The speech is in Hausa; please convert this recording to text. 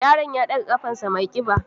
Yaron ya ɗaga ƙarfasa mai ƙiba